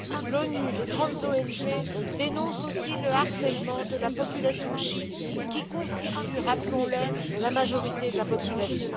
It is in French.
L'ONU et les grandes ONG dénoncent aussi le harcèlement de la population chiite, qui constitue, rappelons le, la majorité de la population.